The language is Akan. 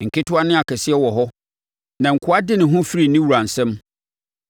Nketewa ne akɛseɛ wɔ hɔ, na akoa de ne ho firi ne wura nsam.